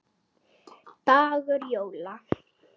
dagur jóla.